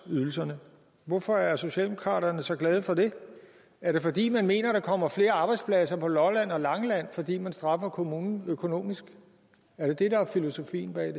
ydelserne hvorfor er socialdemokraterne så glade for det er det fordi man mener der kommer flere arbejdspladser på lolland og langeland fordi man straffer kommunerne økonomisk er det det der er filosofien bag